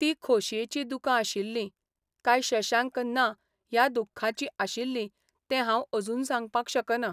ती खोशयेचीं दुकां आशिल्लीं काय शशांक ना ह्या दुख्खाचीं आशिल्लीं तें हांव अजून सांगपाक शकना.